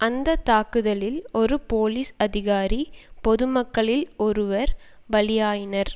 அந்த தாக்குதலில் ஒரு போலீஸ் அதிகாரி பொது மக்களில் ஒருவர் பலியாயினர்